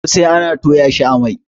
kosai ana Toya shi a Mai